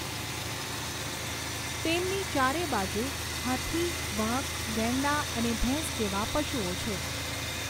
તેમની ચારેબાજુ હાથી વાઘ ગેંડા અને ભેંસ જેવાં પશુઓ છે.